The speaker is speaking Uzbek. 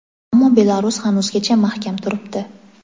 ammo Belarus hanuzgacha mahkam turibdi.